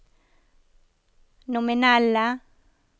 nominelle